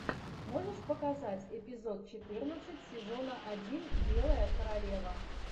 можешь показать эпизод четырнадцать сезона один белая королева